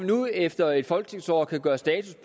nu efter et folketingsår gøre status